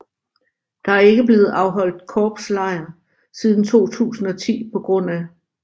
Der er ikke blevet afholdt korpslejr siden 2010 pga